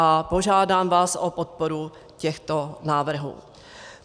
A požádám vás o podporu těchto návrhů.